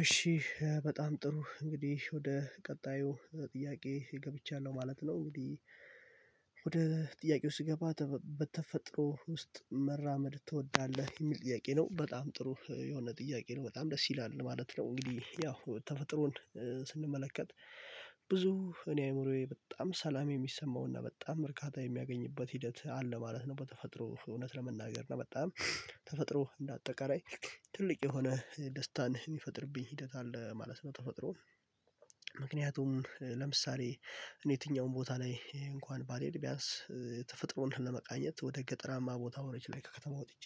እሺ በጣም ጥሩ እንግዲህ ወደ ቀጣዩ ጥያቄ ገብቻለሁ ማለት ነው። እንግዲህ ወደ ጥያቄው ስገባ በተፈጥሮ ውስጥ መራመድ ትወዳለህ የሚል ጥያቄ ነው በጣም ጥሩ የሆነ ጥያቄ ነው በጣም ደስ ይላል ማለት ነው። እንግዲህ ያው ተፈጥሮን ስንመለከት ብዙ እኔ አይምሮዬ በጣም ሰላም የሚሰማው እና በጣም እርካታ የሚያገኝበት ሂደት አለ ማለት ነው። በተፈጥሮ እውነት ለመናገር እና በጣም ተፈጥሮ እንደ አጠቃላይ ትልቅ የሆነ ደስታን የሚፈጥርብኝ ሂደት አለ ማለት ነው። ተፈጥሮ ምክንያቱም ለምሳሌ እኔ የትኛውም ቦታ ላይ እንኳን ባልሄድ ቢያንስ ተፈጥሮን ለመቃኘት ወደ ገጠራማ ቦታዎች ላይ ከከተማ ወጥቼ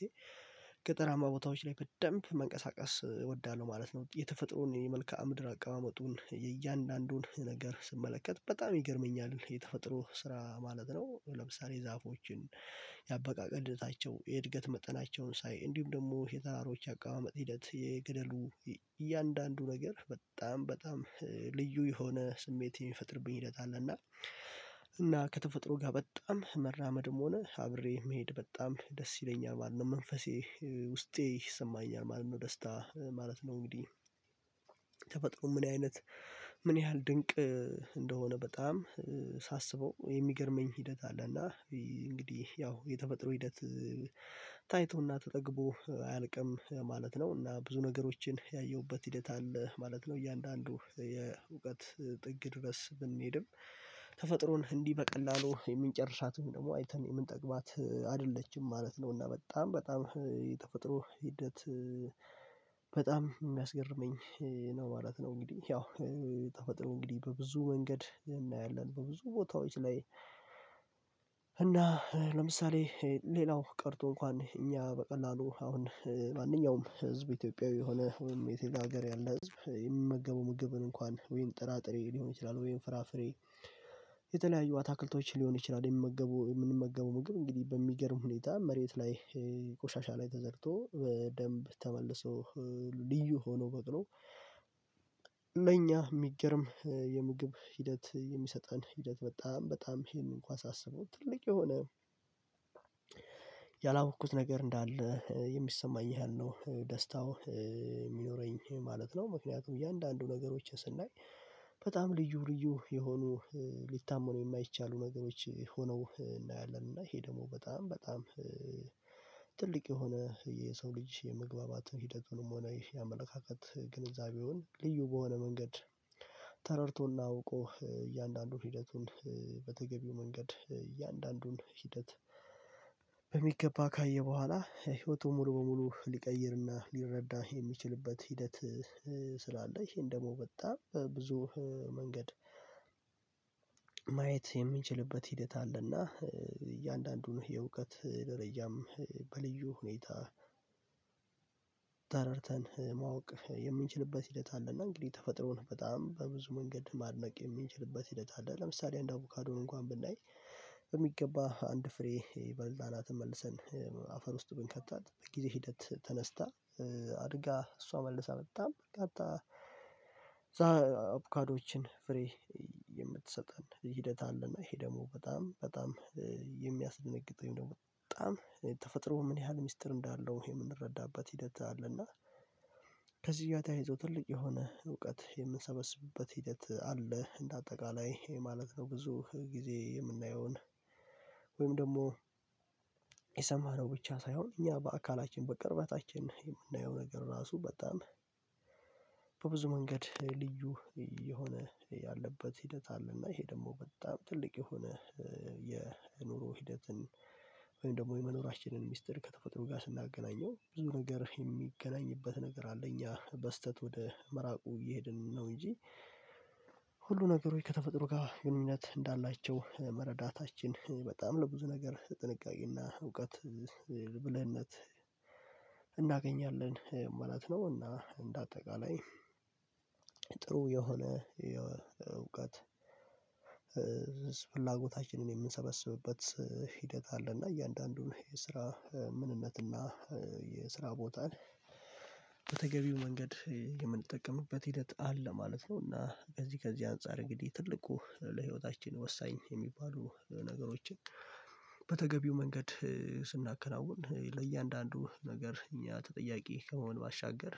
ገጠራማ ቦታዎች ላይ በደንብ መንቀሳቀስ እወዳለሁ ማለት ነው። የተፈጥሮን የመልካአ ምድር አቀማመጡን የእያንዳንዱን ነገር ስመለከት በጣም ይገርመኛል የተፈጥሮ ስራ ማለት ነው። ለምሳሌ ዛፎችን ያበቃቀለቸው የእድገት መጠናቸውን ሳይ እንዲሁም ደግሞ የተራሮች አቀማመጥ ሂደት የገደሉ እያንዳንዱ ነገር በጣም በጣም ልዩ የሆነ ስሜት የሚፈጥርብኝ ሂደት አለና። እና ከተፈጥሮ ጋ በጣም መራመድም ሆነ አብሬ መሄድ በጣም ደስ ይለኛል ማለት ነው መንፈሴ ውስጤ ይሰማኛል ማለት ነው። ደስታ ማለት ነው እንግዲህ ተፈጥሮ ምን አይነት ምን ያህል ድንቅ እንደሆነ በጣም ሳስበው የሚገርመኝ ሂደት አለ እና እንግዲህ ያው የተፈጥሮ ሂደት ታይቶና ተጠግቦ አያልቅም ማለት ነው። እና ብዙ ነገሮችን ያየሁበት ሂደት አለ ማለት ነው እያንዳንዱ የእውቀት ጥግ ድረስ ብንሄድም ተፈጥሮን እንዲህ በቀላሉ የምንጨርሳት ወይም ደግሞ አይተን የምንጠግባት አይደለችም ማለት ነው። እና በጣም በጣም የተፈጥሮ ሂደት በጣም የሚያስገርመኝ ነው ማለት ነው። እንግዲህ ያው የተፈጥሮ እንግዲህ በብዙ መንገድ እናያለን በብዙ ቦታዎች ላይ። እና ለምሳሌ ሌላው ቀርቶ እንኳን እኛ በቀላሉ አሁን ማንኛውም ህዝብ ኢትዮጵያዊ የሆነ ወይም የሌላ ሀገር ያለ ህዝብ የሚመገበው ምግብን እንኳን ወይም ጥራጥሬ ሊሆን ይችላል ወይም ፍራፍሬ የተለያዩ አትክልቶች ሊሆን ይችላል። የምመገበው የምንመገበው ምግብ እንግዲህ በሚገርም ሁኔታ መሬት ላይ ቆሻሻ ላይ ተዘርቶ በደንብ ተመልሶ ልዩ ሆኖ በቅሎ ለኛ የሚገርም የምግብ ሂደት የሚሰጠን ሂደት በጣም በጣም ይሄን እንኳን ሳስበው ትልቅ የሆነ ያላወቅኩት ነገር እንዳለ የሚሰማኝ ያህል ነው ደስታው የሚኖረኝ ማለት ነው። ምክንያቱም እያንዳንዱ ነገሮችን ስናይ በጣም ልዩ ልዩ የሆኑ ሊታመኑ የማይቻሉ ነገሮች ሆነው እናያለን እና ይሄ ደግሞ በጣም በጣም ትልቅ የሆነ የሰው ልጅ የመግባባት ሂደቱንም ሆነ የአመለካከት ግንዛቤውን ልዩ በሆነ መንገድ ተረድቶና አውቆ እያንዳንዱን ሂደቱን በተገቢው መንገድ እያንዳንዱን ሂደት። በሚገባ ካየ በኋላ ህይወቱን ሙሉ በሙሉ ሊቀይርና ሊረዳ የሚችልበት ሂደት ስላለ ይሄን ደግሞ በጣም በብዙ መንገድ ማየት የሚንችልበት ሂደት አለና እያንዳንዱን የእውቀት ደረጃም በልዩ ሁኔታ ተረድተን ማወቅ የምንችልበት ሂደት አለና። እንግዲህ ተፈጥሮን በጣም በብዙ መንገድ ማድነቅ የምንችልበት ሂደት አለ። ለምሳሌ አንድ አቮካዶን እንኳን ብናይ በሚገባ አንድ ፍሬ የበላናትን መልሰን አፈር ውስጥ ብንከታት በጊዜ ሂደት ተነስታ አድጋ እሷ መልሰ በጣም በርካታ አቡካዶዎችን ፍሬ የምትሰጠን ሂደት አለና ይሄ ደግሞ በጣም በጣም የሚያስደነግጥ ነው በጣም ተፈጥሮ ምን ያህል ሚስጥር እንዳለው የምንረዳበት ሂደት አለና። ከዚህ ጋር ተያይዞ ትልቅ የሆነ እውቀት የምንሰበስብበት ሂደት አለ እንደ አጠቃላይ ማለት ነው። ብዙ ጊዜ የምናየውን ወይም ደግሞ ብቻ ሳይሆን እኛ በአካላችን በቅርበታችን የምናየው ነገር ራሱ በጣም በብዙ መንገድ ልዩ የሆነ ያለበት ሂደት አለና ይሄ ደግሞ በጣም ትልቅ የሆነ የኑሮ ሂደትን ወይም ደግሞ የመኖራችንን ሚስጥር ከተፈጥሮ ጋር ስናገናኘው ብዙ ነገር የሚገናኝበት ነገር አለ እኛ በስህተት ወደ መራቁ እየሄድን ነው እንጂ ነገሮች ከተፈጥሮ ጋር ግንኙነት እንዳላቸው መረዳታችን በጣም ለብዙ ነገር ጥንቃቄና እውቀት ብልህነት እናገኛለን ማለት ነው። እና እንደ አጠቃላይ ጥሩ የሆነ የእውቀት ፍላጎታችንን የምንሰበስብበት ሂደት አለ እና እያንዳንዱን የስራ ምንነት እና የስራ ቦታን በተገቢው መንገድ የምንጠቀምበት ሂደት አለ ማለት ነው። እና ከዚህ ከዚህ አንፃር እንግዲህ ትልቁ ለህይወታችን ወሳኝ የሚባሉ ነገሮችን በተገቢው መንገድ ስናከናውን ለእያንዳንዱ ነገር እኛ ተጠያቂ ከመሆን ባሻገር